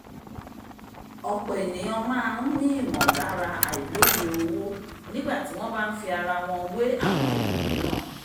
ọ̀pọ̀ ènìyàn máa n ní ìmọ̀lára àìlòye owó nígbà tí wọ́n bá n fi ara wọn wé àwọn ẹlòmíràn